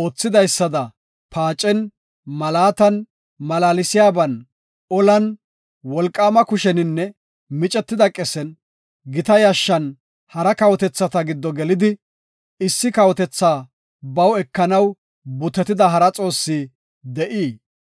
oothidaysada paacen, malaatan, malaalsiyaban, olan, wolqaama kusheninne micetida qesen, gita yashshan hara kawotetha giddo gelidi, issi kawotethaa baw ekanaw butetida hara xoossi de7ii?